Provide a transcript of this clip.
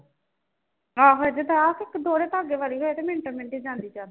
ਆਹੋ ਏਦੇ ਤੇ ਆਪ ਦੋਹਰੇ ਧਾਗੇ ਵਾਲੀ ਹੋਏ ਤੇ ਮਿੰਟ ਮਿੰਟ ਜਾਂਦੀ ਚਾਦਰ